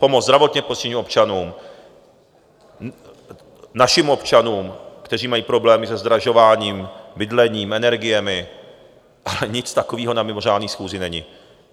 Pomoc zdravotně postiženým občanům, našim občanům, kteří mají problémy se zdražováním, bydlením, energiemi, ale nic takového na mimořádné schůzi není.